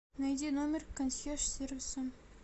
найди номер консьерж сервиса